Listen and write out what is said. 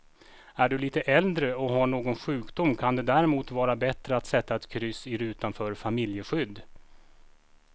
Är du lite äldre och har någon sjukdom kan det därmot vara bättre att sätta ett kryss i rutan för familjeskydd.